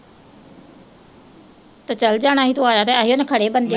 ਤੇ ਚਲੇ ਜਾਣਾ ਸੀ ਤੂੰ ਆਇਆ ਤਾਂ ਹੈ ਸੀ ਬੰਦੇ